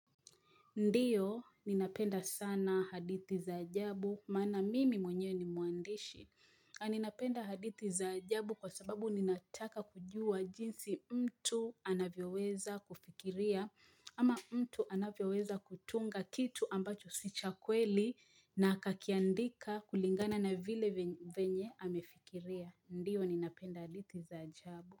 Ndiyo, ninapenda sana haditi za ajabu. Maana mimi mwenye ni muandishi. Ninapenda haditi za ajabu kwa sababu ninataka kujua jinsi mtu anavyoweza kufikiria. Ama mtu anavyoweza kutunga kitu ambacho sicha kweli na akiandika kulingana na vile venye amefikiria. Ndiyo, ninapenda haditi za ajabu.